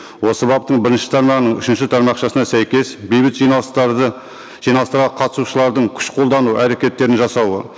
осы баптың бірінші тармағының үшінші тармақшасына сәйкес бейбіт жиналыстарды жиналыстарға қатысушылардың күш қолдану әрекеттерін жасауы